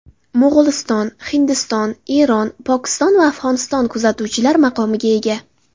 Mo‘g‘uliston, Hindiston, Eron, Pokiston va Afg‘oniston kuzatuvchilar maqomiga ega.